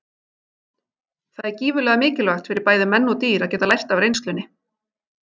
Það er gífurlega mikilvægt fyrir bæði menn og dýr að geta lært af reynslunni.